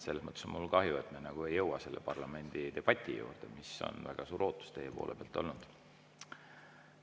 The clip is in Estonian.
Selles mõttes on mul kahju, et me ei jõua selle parlamendidebati juurde, mis on väga suur ootus teie poole pealt olnud.